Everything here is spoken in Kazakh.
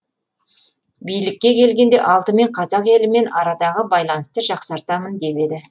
билікке келгенде алдымен қазақ елімен арадағы байланысты жақсартамын деп еді